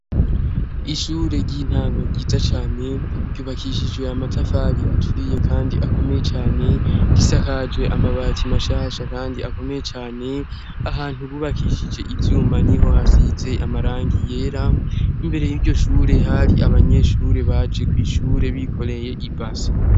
Ishure ry'intango ryiza cyane ryubakishijwe amatafari aturiye kandi akomeye cane gisakajwe amabati mashasha kandi akomeye cane ahantu bubakishije ivyuma niho hasize amarangi yera. Imbere y'iryo shure hari abanyeshure baje kw'ishure bikoreye ibase.